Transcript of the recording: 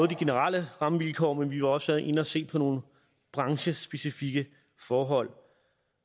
de generelle rammevilkår men vi var også inde at se på nogle branchespecifikke forhold